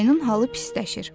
Ayının halı pisləşir.